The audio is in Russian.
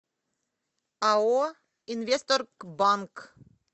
ао инвестторгбанк